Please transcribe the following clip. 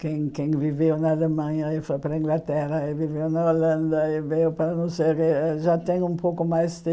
Quem quem viveu na Alemanha e foi para a Inglaterra, e viveu na Holanda e veio para não sei, já tem um pouco mais de...